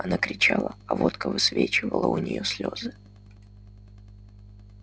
она кричала а водка высвечивала у нее слезы